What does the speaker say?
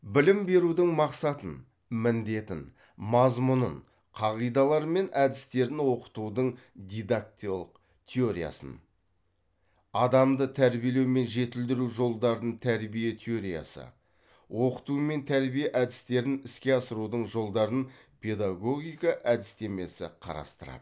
білім берудің мақсатын міндетін мазмұнын қағидалары мен әдістерін оқытудың теориясын адамды тәрбиелеу мен жетілдіру жолдарын тәрбие теориясы оқыту мен тәрбие әдістерін іске асырудың жолдарын педагогика әдістемесі қарастырады